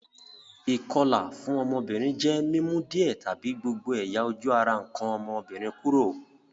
Ìkolà fun ọ́mọ́bìnrin je mi mu díẹ̀ tàbi gbogbo ẹ̀yà-ojú ara nkàn ọ́mọ́bìnrin kúrò.